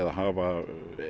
hafa